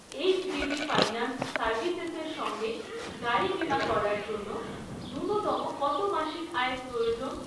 HDB finance সার্ভিসেসের সঙ্গে গাড়ি বিমা করার জন্য ন্যূনতম কত মাসিক আয়ের প্রয়োজন?